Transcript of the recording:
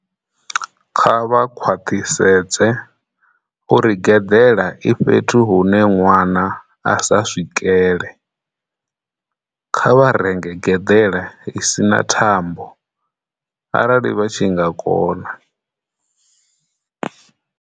Kha vha khwaḽhisedze uri gedela i fhethu hune nwana a sa swikele. Kha vha renge gedela i si na thambo arali vha tshi nga kona.